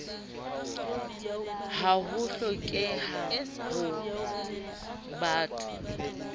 ha ho hlokeha ho batho